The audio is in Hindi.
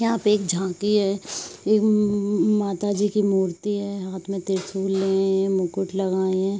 यहाँ पे एक झांकी है। ये उउउउम् माताजी की मूर्ति है हाथ में तिरशूल लेयें हैं मुकुट लगाएं हैं।